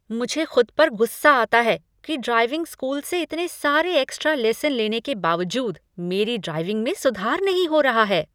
मुझे खुद पर गुस्सा आता है कि ड्राइविंग स्कूल से इतने सारे एक्स्ट्रा लेसन लेने के बावजूद मेरी ड्राइविंग में सुधार नहीं हो रहा है।